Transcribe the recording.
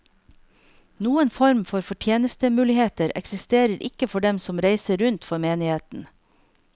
Noen form for fortjenestemuligheter eksisterer ikke for dem som reiser rundt for menigheten.